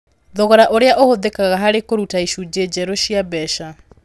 Thogora ũrĩa ũhũthĩkaga harĩ kũruta icunjĩ njerũ cia mbeca.